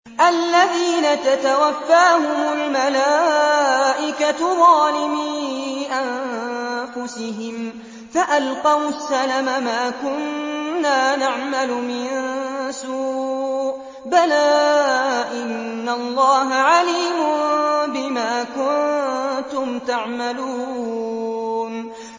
الَّذِينَ تَتَوَفَّاهُمُ الْمَلَائِكَةُ ظَالِمِي أَنفُسِهِمْ ۖ فَأَلْقَوُا السَّلَمَ مَا كُنَّا نَعْمَلُ مِن سُوءٍ ۚ بَلَىٰ إِنَّ اللَّهَ عَلِيمٌ بِمَا كُنتُمْ تَعْمَلُونَ